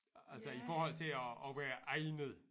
Altså i forhold til at at være egnet